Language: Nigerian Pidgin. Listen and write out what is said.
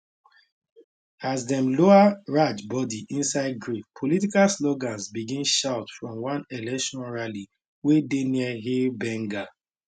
as dem lower raj body inside grave political slogans begin shout from one election rally wey dey near hail bengal